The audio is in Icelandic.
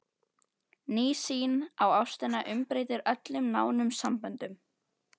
Ný sýn á ástina umbreytir öllum nánum samböndum.